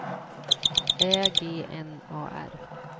Ä G N A R